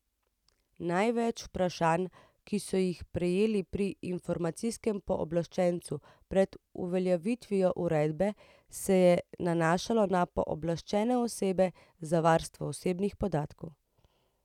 Največ vprašanj, ki so jih prejeli pri informacijskem pooblaščencu pred uveljavitvijo uredbe, se je nanašalo na pooblaščene osebe za varstvo osebnih podatkov.